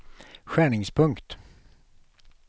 skärningspunkt